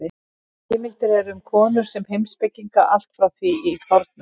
Heimildir eru um konur sem heimspekinga allt frá því í fornöld.